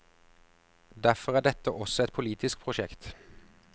Derfor er dette også et politisk prosjekt.